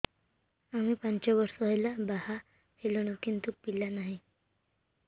ଆମେ ପାଞ୍ଚ ବର୍ଷ ହେଲା ବାହା ହେଲୁଣି କିନ୍ତୁ ପିଲା ନାହିଁ